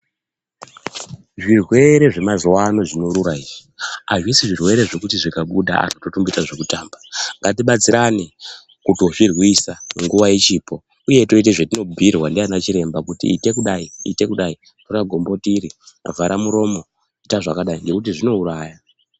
Zvirwere zvemazuwa ano zvinorura izvi, hazvisi zvirwere zvekuti zvikabuda totomboita zvekutamba. Ngatibatsirane, kutozvirwisa nguwa ichipo, Uye toite zvetinobhuyirwa ndiana chiremba kuti ite kudai, ite kudai, tora gomboti iri, vhara muromo, ita zvakadai, ngekuti zvinouraya.